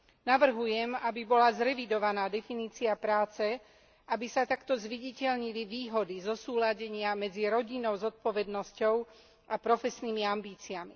Navrhujem, aby bola zrevidovaná definícia práce, aby sa takto zviditeľnili výhody zosúladenia medzi rodinnou zodpovednosťou a profesnými ambíciami.